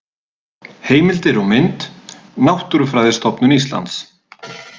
Heimildir og mynd: Náttúrufræðistofnun Íslands.